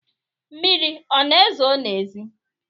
Mmiri ọ na-ezo n’ezi?